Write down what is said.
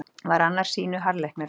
Var annar sýnu harðleiknari.